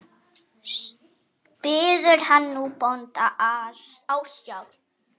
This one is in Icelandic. Biður hann nú bónda ásjár.